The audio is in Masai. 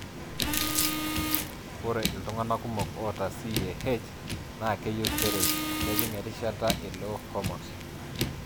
Ore iltunganaa kumok oata CAH na keyieu steroids kejing erishata e low hormones.